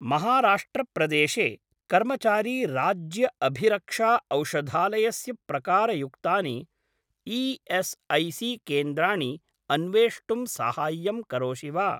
महाराष्ट्र प्रदेशे कर्मचारी राज्य अभिरक्षा औषधालयस्य प्रकारयुक्तानि ई.एस्.ऐ.सी.केन्द्राणि अन्वेष्टुं साहाय्यं करोषि वा?